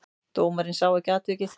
Dómarinn sá ekki atvikið.